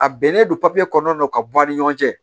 A bɛnnen don papiye kɔnɔna na ka bɔ a ni ɲɔgɔn cɛ